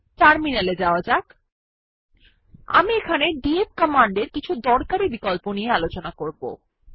terminal এ যাওয়া যাক আমি এখানে ডিএফ কমান্ডের কিছু দরকারী বিকল্প দেখাবো